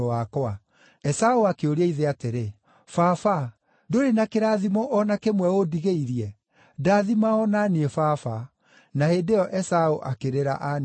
Esaũ akĩũria ithe atĩrĩ, “Baba, ndũrĩ na kĩrathimo o na kĩmwe ũndigĩirie? Ndaathima o na niĩ, baba!” Na hĩndĩ ĩyo Esaũ akĩrĩra anĩrĩire.